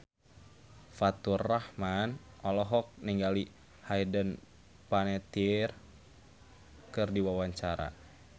Faturrahman olohok ningali Hayden Panettiere keur diwawancara